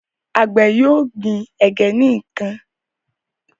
Àgbè yóò gbìn ẹgẹ nìkàn.